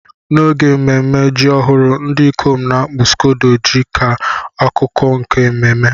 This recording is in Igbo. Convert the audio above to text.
N'oge ememme ji ọhụrụ, ndị ikom n'akpu scodo dị ka akụkụ nke ememe.